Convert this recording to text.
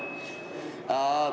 Kuulame!